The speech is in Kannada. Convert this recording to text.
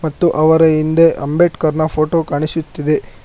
ಮತ್ತು ಅವರ ಹಿಂದೆ ಅಂಬೇಡ್ಕರ್ ನ ಫೋಟೋ ಕಾಣಿಸುತ್ತಿದೆ